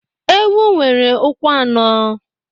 Ewu nwere ụkwụ anọ.